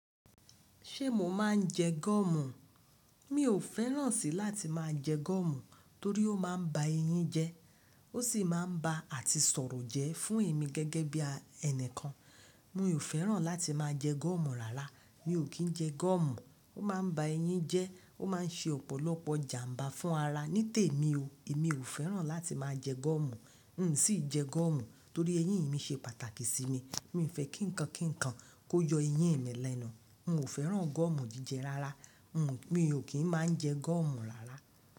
Ṣé mo máa ń jẹ gọ́ọ́mù? Mi ò fẹ́ràn sí láti máa jẹ gúọ́mù torí ó máa ń ba eyín jẹ, ó sì máa ń ba àti sọ̀rọ̀ jẹ́ fún èmi gẹ́gẹ́ bí ẹni kan. Mi ò fẹ́ràn láti máa jẹ gúọ́mù rárá. Mi ò kí ń jẹ gọ́ọ́mù. Ó máa ń ba eyín jẹ, ó máa ń ṣe ọ̀pọ̀lọpọ̀ ìjàmbá fún ara. Nítèmi o, mi ò fẹ́ràn láti máa jẹ gọ́ọ́mù. N ò sì jẹ gọ́ọ́mù torí eyín mi ṣe pàtàkì sí mi. Mi ò fẹ́ kí ǹkan kan kó yọ eyín mi lẹ́nu. Mi ò fẹ́ràn gọ́ọ́mù jíjẹ rárá. Mi ò kí ń máa jẹ gúọ́mù rárá.